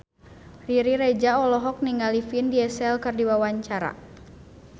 Riri Reza olohok ningali Vin Diesel keur diwawancara